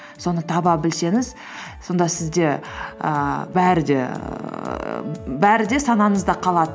соны таба білсеңіз сонда сізде ііі бәрі де ііі бәрі де санаңызда қалады